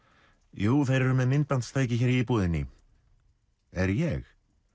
jú þeir eru með myndbandstæki hér íbúðinni er ég